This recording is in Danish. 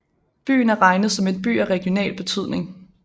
Byen er regnet som en by af regional betydning